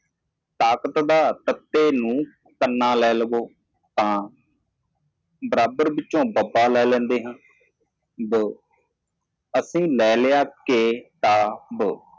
ਸ਼ਕਤੀ ਤੇ ਸੱਟਾ ਪੰਨਾ ਲੈ ਬਾਬਾ ਬਰਾਬਰ ਤੋਂ ਲੈਂਦਾ ਹੈ ਬੀ ਅਸੀਂ ਲਿਆ ਦੇ ਤਾ ਬੀ